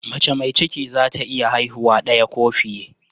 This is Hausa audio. Mace mai ciki za ta iya haihuwa daya ko fiye